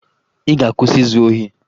Ị ga-akwụsị izu ohi!